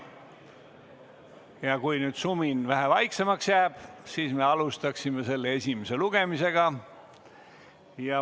Ja kui nüüd sumin vähe vaiksemaks jääb, siis me alustame selle esimest lugemist.